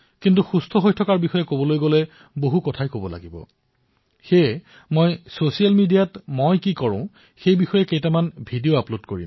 ফিটনেছৰ কথা কবলৈ গলেমই ভাবো কথা দীঘলীয়া হব মই এটা কাম কৰো মই ছচিয়েল মিডিয়াত এই বিষয়ক কিছুমান ভিডিঅ আপলোড কৰিম